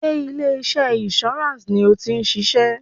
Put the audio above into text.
Sé ilé iṣẹ́ insurance ni o ti ń ṣiṣẹ́?